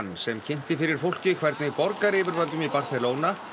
sem kynnti fyrir fólki hvernig borgaryfirvöldum í Barcelona